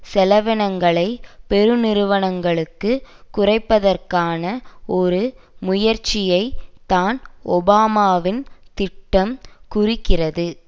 செலவினங்களைப் பெருநிறுவனங்களுக்கு குறைப்பதற்கான ஒரு முயற்சியை தான் ஒபாமாவின் திட்டம் குறிக்கிறது